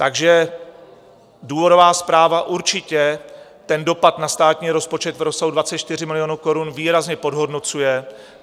Takže důvodová zpráva určitě ten dopad na státní rozpočet v rozsahu 24 milionů korun výrazně podhodnocuje.